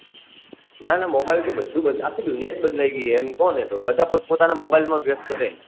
ના ના mobile થી બધું આખી દુનિયા'જ બદલાઈ ગઈ હે એમ કોને બધા પોત પોતાના mobile માં વ્યસ્ત રે